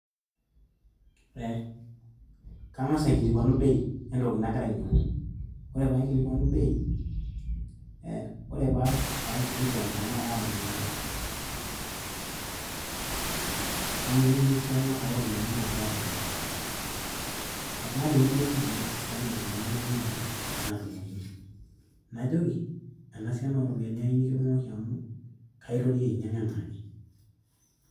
Eeeh kangasa aikilikuanu bei wentoki nagira ainyangu, ore paikilikuanu bei aah ore paikilikuan tenaa keeta entoki nadungoki ,naininingu esiana oropiyiani nagira adungoki naningu sinanu esiana oropiyiani naikaja nayieu nadungokini ,ena siana oropiyiani ayieu nikidungoki amu kaitoki ainyang anaake.